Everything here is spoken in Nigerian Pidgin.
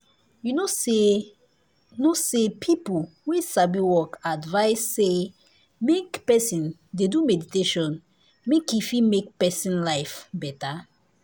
you know say know say people wey sabi work advice say make person dey do meditation make e fit make person life better.